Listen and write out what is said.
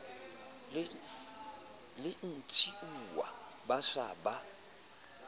le ntshiuwa ba se ba